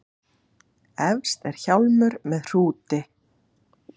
Efst er hjálmur með hrúti.